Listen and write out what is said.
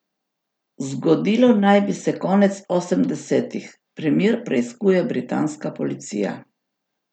Zgodilo naj bi se konec osemdesetih, primer preiskuje britanska policija.